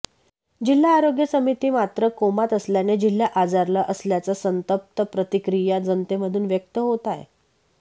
जिल्हा आरोग्य समिती मात्र कोमात असल्यानेे जिल्हा आजारला असल्याच्या संतप्त प्रतिक्रिया जनतेमधून व्यक्त होत आहेत